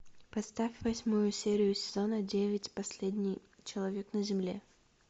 поставь восьмую серию сезона девять последний человек на земле